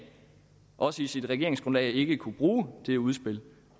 også i sit regeringsgrundlag ikke kunne bruge det udspil